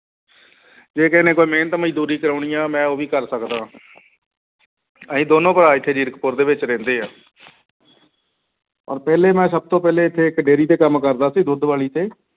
ਜੇ ਕਿਸੇ ਨੇ ਕੋਈ ਮਿਹਨਤ ਮਜ਼ਦੂਰੀ ਕਰਵਾਉਣੀ ਹੈ ਮੈਂ ਉਹ ਵੀ ਕਰ ਸਕਦਾ ਹਾਂ ਅਸੀਂ ਦੋਨੋਂ ਭਰਾ ਇੱਥੇ ਜੀਰਕਪੁਰ ਦੇ ਵਿੱਚ ਰਹਿੰਦੇ ਹਾਂ ਔਰ ਪਹਿਲੇ ਮੈਂ ਸਭ ਤੋਂ ਪਹਿਲੇ ਇੱਥੇ ਇੱਕ dairy ਤੇ ਕੰਮ ਕਰਦਾ ਸੀ ਦੁੱਧ ਵਾਲੀ ਤੇ।